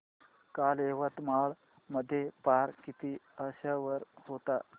काल यवतमाळ मध्ये पारा किती अंशावर होता